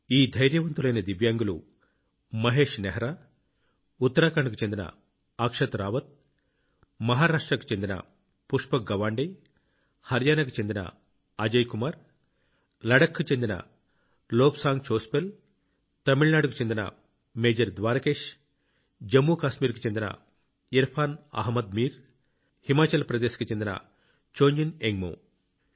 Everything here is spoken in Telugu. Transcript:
ఈ ధైర్యవంతులైన దివ్యాంగులు మహేశ్ నెహ్రా గారుఉత్తరాఖండ్కు చెందిన అక్షత్ రావత్ గారు మహారాష్ట్రకు చెందిన పుష్పక్ గవాండే గారు హర్యానాకు చెందిన అజయ్ కుమార్ గారులడఖ్ కు చెందిన లోబ్సాంగ్ చోస్పెల్ గారు తమిళనాడుకు చెందిన మేజర్ ద్వారకేష్ గారు జమ్మూ కాశ్మీర్కు చెందిన ఇర్ఫాన్ అహ్మద్ మీర్ గారు హిమాచల్ ప్రదేశ్ కు చెందిన చొంజిన్ ఎంగ్మో గారు